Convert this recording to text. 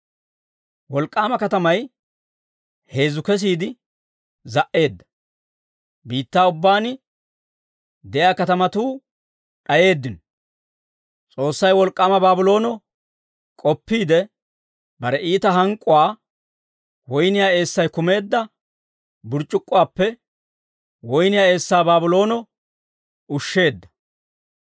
Wolk'k'aama katamay heezzu kesiide za"eedda. Biittaa ubbaan de'iyaa katamatuu d'ayeeddino. S'oossay wolk'k'aama Baabloono k'oppiide, bare iita hank'k'uwaa woyniyaa eessay kumeedda burc'c'ukkuwaappe woyniyaa eessaa Baabloono ushsheedda.